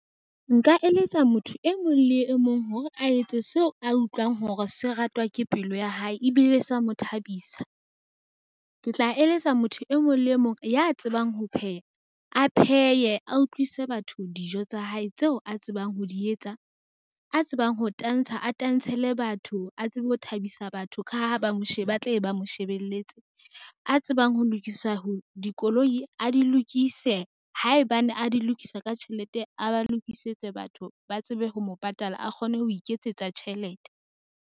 Nka eletsa motho e mong le e mong hore a etse seo a utlwang hore se ratwa ke pelo ya hae ebile sa mo thabisa. Ke tla eletsa motho e mong le mong ya tsebang ho pheha a pheye a utlwisa batho dijo tsa hae tseo a tsebang ho di etsa. A tsebang ho tantsha, a tantshele batho a tsebe ho thabisa batho ka ha ba tle be ba mo shebelletse, a tsebang ho lokisa dikoloi, a di lokise haebane a di lokisa ka tjhelete, a ba lokisetse batho ba tsebe ho mo patala a kgone ho iketsetsa tjhelete.